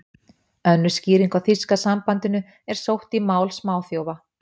Önnur skýring á þýska sambandinu er sótt í mál smáþjófa.